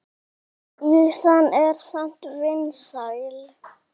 Ýsan er samt vinsæl.